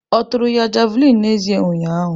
Ọ tụrụ ya Javulinị n'ezie ụnyahụ.